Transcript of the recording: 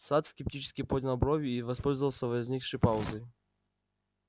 сатт скептически поднял брови и воспользовался возникшей паузой